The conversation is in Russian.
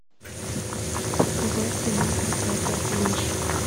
какова цена проката лыж